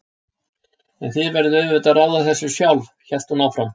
En þið verðið auðvitað að ráða þessu sjálf, hélt hún áfram.